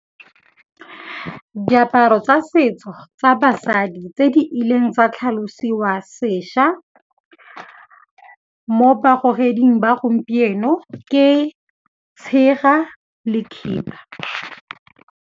Diaparo tsa setso tsa basadi tse di ileng tsa tlhalosiwa sešwa mo bagogeding ba gompieno ke tshega le khiba.